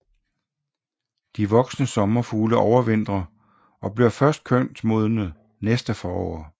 De voksne sommerfugle overvintrer og bliver først kønsmodne næste forår